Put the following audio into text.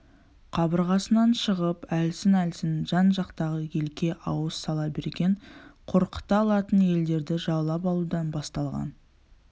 қабырғасынан шығып әлсін-әлсін жан-жақтағы елге ауыз сала берген қорқыта алатын елдерді жаулап алудан басталған